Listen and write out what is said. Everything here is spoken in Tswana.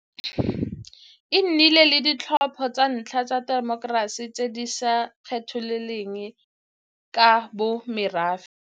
E nnile le ditlhopho tsa ntlha tsa temokerasi tse di sa kgethololeng ka bo morafe.